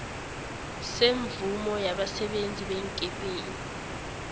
semvumo yabasebenzi beenkepeni